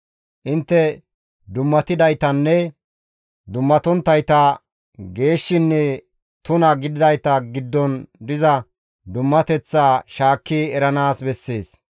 Intte dummatidaytanne dummatonttayta, geeshshinne tuna gididayta giddon diza dummateththaa shaakki eranaas bessees.